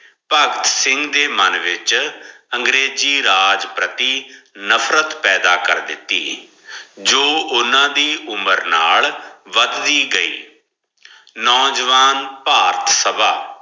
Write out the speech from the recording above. ਭਗਤ ਸਿੰਘ ਦੇ ਮਨ ਵਿਚ ਅੰਗਰੇਜ਼ੀ ਰਾਜ ਪ੍ਰਤੀ ਨਫਰਤ ਪਪੈਦਾ ਕਰ ਦਿੱਤੀ ਜੋ ਓਨਾ ਦੀ ਉਮਰ ਨਾਲ ਵੱਧਦੀ ਗਈ ਨੋਜਵਾਨ ਭਾਰਤ ਸਭਾ